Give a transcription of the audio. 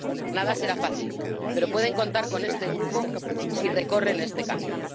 Nada será fácil, pero pueden contar con este grupo si recorren este camino.